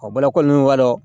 bɔlɔlɔ ninnu b'a dɔn